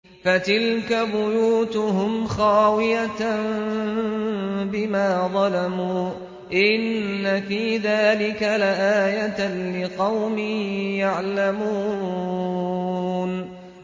فَتِلْكَ بُيُوتُهُمْ خَاوِيَةً بِمَا ظَلَمُوا ۗ إِنَّ فِي ذَٰلِكَ لَآيَةً لِّقَوْمٍ يَعْلَمُونَ